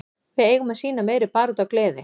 Við eigum að sýna meiri baráttu og gleði.